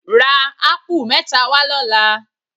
Ra ápù mẹ́ta wá lọ́la.